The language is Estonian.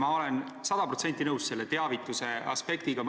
Ma olen sada protsenti nõus teavituse tähtsusega.